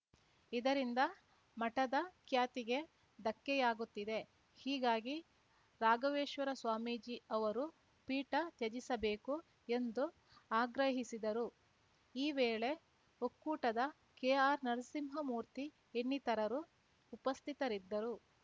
ಇದರಿಂದ ಮಠದ ಖ್ಯಾತಿಗೆ ಧಕ್ಕೆಯಾಗುತ್ತಿದೆ ಹೀಗಾಗಿ ರಾಘವೇಶ್ವರ ಸ್ವಾಮೀಜಿ ಅವರು ಪೀಠ ತ್ಯಜಿಸಬೇಕು ಎಂದು ಆಗ್ರಹಿಸಿದರು ಈ ವೇಳೆ ಒಕ್ಕೂಟದ ಕೆಆರ್‌ನರಸಿಂಹಮೂರ್ತಿ ಇನ್ನಿತರರು ಉಪಸ್ಥಿತರಿದ್ದರು